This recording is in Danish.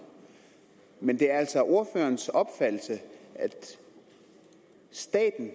men det er altså ordførerens opfattelse at staten